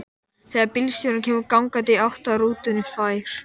Þegar bílstjórinn kemur gangandi í átt að rútunni fær